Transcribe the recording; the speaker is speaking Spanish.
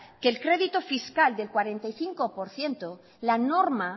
que el crédito fiscal del cuarenta y cinco por ciento la norma